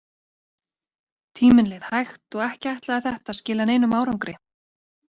Tíminn leið hægt og ekki ætlaði þetta að skila neinum árangri.